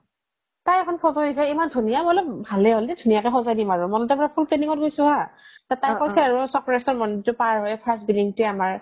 তাই এখন photo দিছে ইমান ধুনীয়া মই বোলো ভালেই হল দে ধুনীয়াকে সজাই দিম আৰু মই আৰু full planning ত গৈছো হা তাই কৈছে আৰু চক্ৰসৰ মন্দিৰটো পাৰ হৈয়ে first building টো আমাৰ